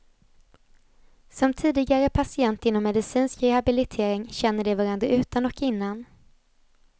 Som tidigare patienter inom medicinsk rehabilitering känner de varandra utan och innan.